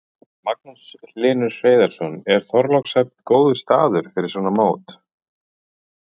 Magnús Hlynur Hreiðarsson: Er Þorlákshöfn góður staður fyrir svona mót?